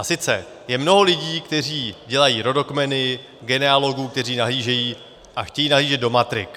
A sice je mnoho lidí, kteří dělají rodokmeny, genealogů, kteří nahlížejí a chtějí nahlížet do matrik.